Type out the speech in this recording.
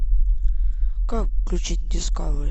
как включить дискавери